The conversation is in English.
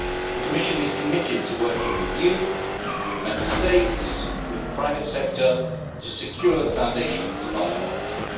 The Commission is committed to working with you, with Member States and with the private sector to secure the foundations of our democracy.